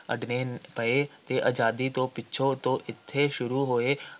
ਅੱਡਣੇ ਪਏ ਤੇ ਆਜ਼ਾਦੀ ਤੋਂ ਪਿੱਛੋਂ ਤੋਂ ਇੱਥੇ ਸ਼ੁਰੂ ਹੋਏ